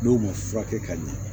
N'o ma furakɛ ka ɲɛ